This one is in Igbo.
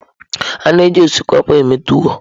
A na-eji osikapa eme tuwọ.